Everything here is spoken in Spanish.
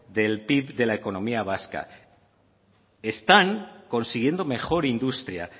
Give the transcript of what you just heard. del pib de la económica vasca están consiguiendo mejor industria